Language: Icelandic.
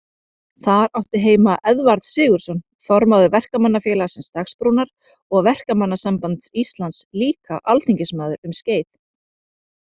Þar átti heima Eðvarð Sigurðsson, formaður Verkamannafélagsins Dagsbrúnar og Verkamannasambands Íslands, líka alþingismaður um skeið.